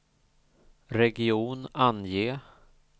region, ange